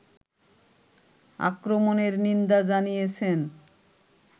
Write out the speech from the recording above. আক্রমণের নিন্দা জানিয়েছেন